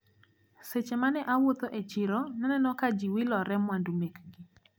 Seche mane awuotho e chiro naneno ka jiwilore mwandu mekgi.